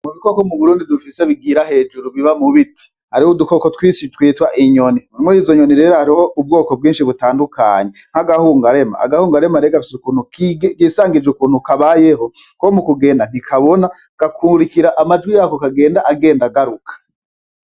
Mubikoko muburundi dufise bigira hejuru biba mu biti hariho udukoko twinshi twitwa inyoni no murizo nyoni rero hariho ubwoko bwinshi butandukanye nk'agahungarema. Agahungarema rero gafise ukuntu kisangije ukuntu kabayeho komukugenda ntikabona gakurikira amajwi yako agenda agaruke.